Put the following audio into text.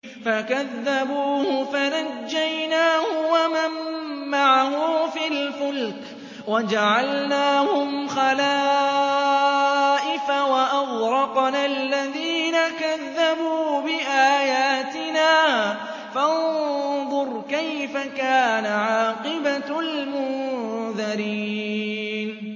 فَكَذَّبُوهُ فَنَجَّيْنَاهُ وَمَن مَّعَهُ فِي الْفُلْكِ وَجَعَلْنَاهُمْ خَلَائِفَ وَأَغْرَقْنَا الَّذِينَ كَذَّبُوا بِآيَاتِنَا ۖ فَانظُرْ كَيْفَ كَانَ عَاقِبَةُ الْمُنذَرِينَ